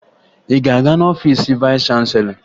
Ị ga-aga n'ọfiisi vayịs chanselọ?